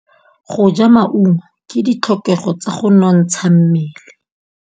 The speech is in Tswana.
Go ja maungo ke ditlhokegô tsa go nontsha mmele.